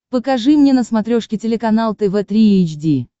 покажи мне на смотрешке телеканал тв три эйч ди